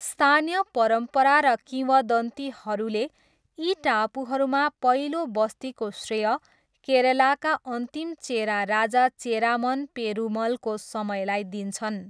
स्थानीय परम्परा र किंवदन्तीहरूले यी टापुहरूमा पहिलो बस्तीको श्रेय केरलाका अन्तिम चेरा राजा चेरामन पेरुमलको समयलाई दिन्छन्।